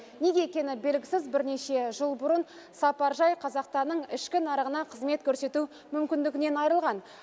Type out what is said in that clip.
неге екені белгісіз бірнеше жыл бұрын сапаржай қазақстанның ішкі нарығына қызмет көрсету мүмкіндігінен айырылған